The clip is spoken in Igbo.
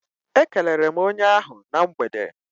E kelere m onye ahụ na mgbede.